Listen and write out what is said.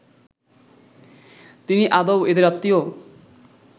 তিনি আদৌ এদের আত্মীয়